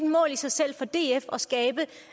mål i sig selv for df